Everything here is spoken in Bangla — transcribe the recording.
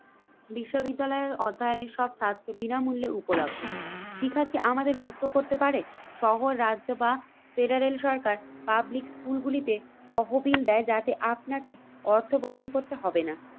বিশ্ববিদ্যালয়ের অধ্যায়নের সব স্বাস্থ্য বিনামূল্যে উপলব্ধ। শিক্ষা কি আমাদের মুক্ত করতে পারে? শহর রাজ্য বা ফেডারেল সরকার পাবলিক স্কুলগুলিতে তহবিল দেয়, যাতে আপনাকে অর্থ প্রদান করতে হবে না।